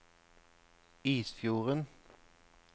Isfjorden